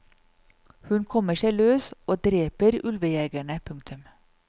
Hun kommer seg løs og dreper ulvejegerne. punktum